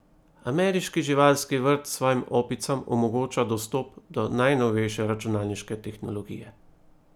Ameriški živalski vrt svojim opicam omogoča dostop do najnovejše računalniške tehnologije.